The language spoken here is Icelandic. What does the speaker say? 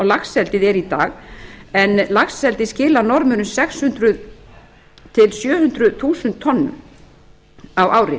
laxeldið er í dag en laxeldið skilar norðmönnum sex hundruð til sjö hundruð þúsund tonnum á ári